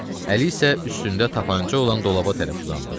Əli isə üstündə tapança olan dolaba tərəf uzandı.